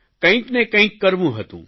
કંઇકને કંઇક કરવું હતું